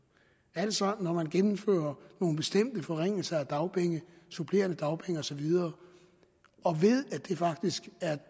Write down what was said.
altså når man gennemfører nogle bestemte forringelser af dagpenge supplerende dagpenge og så videre og ved at det faktisk er